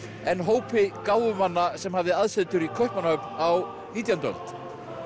en hópi sem hafði aðsetur í Kaupmannahöfn á nítjándu öld